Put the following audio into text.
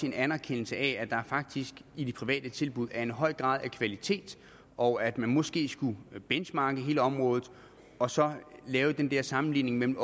en anerkendelse af at der faktisk i de private tilbud er en høj grad af kvalitet og at man måske skulle benchmarke hele området og så lave den der sammenligning mellem